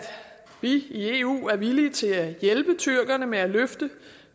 vi i eu er villige til at hjælpe tyrkerne med at løfte